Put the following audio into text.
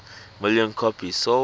million copies sold